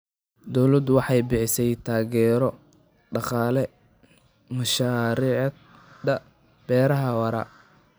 Dawladdu waxay bixisaa taageero dhaqaale mashaariicda beeraha waara.